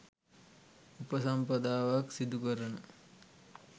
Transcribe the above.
උපසම්පදාවක් සිදු කරන